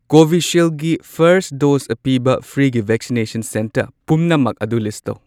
ꯀꯣꯕꯤꯁꯤꯜꯒꯤ first dose ꯄꯤꯕ ꯐ꯭ꯔꯤꯒꯤ ꯚꯦꯛꯁꯤꯅꯦꯁꯟ ꯁꯦꯟꯇꯔ ꯄꯨꯝꯅꯃꯛ ꯑꯗꯨ ꯂꯤꯁ ꯇꯧ꯫